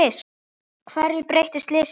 Hverju breytti slysið?